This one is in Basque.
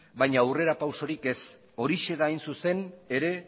baina aurrera pausurik ez horixe da hain zuzen ere